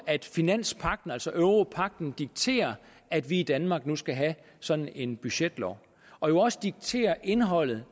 at finanspagten altså europagten dikterer at vi i danmark nu skal have sådan en budgetlov og jo også dikterer indholdet